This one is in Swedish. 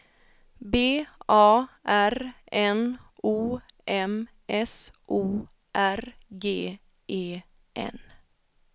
B A R N O M S O R G E N